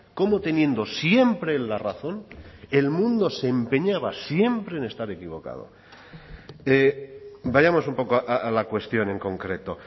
cómo teniendo siempre el la razón el mundo se empeñaba siempre en estar equivocado vayamos un poco a la cuestión en concreto